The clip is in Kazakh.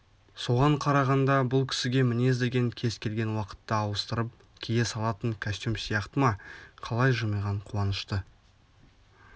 соған қарағанда бұл кісіге мінез деген кез келген уақытта ауыстырып кие салатын костюм сияқты ма қалай жымиған қуанышты